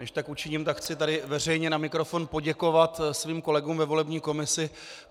Než tak učiním, tak chci tady veřejně na mikrofon poděkovat svým kolegům ve volební komisi.